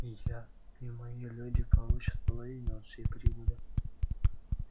и я и мои люди получат половину от всей прибыли